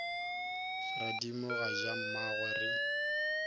radimo ga ja mmagwe re